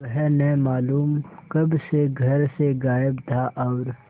वह न मालूम कब से घर से गायब था और